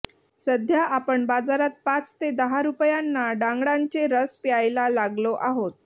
सध्या आपण बाजारात पाच ते दहा रुपयांना ङ्गळांचे रस प्यायला लागलो आहोत